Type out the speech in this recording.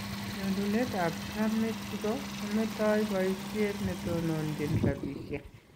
Nyonunet ab Trump Mexico , kometo boisiet netononjin rabisiek